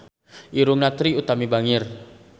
Irungna Trie Utami bangir